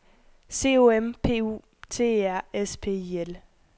C O M P U T E R S P I L